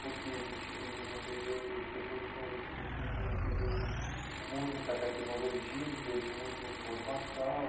Porque a gente vive num período, as pessoas dizem isso, que vivem num período de muita tecnologia, de muita informação.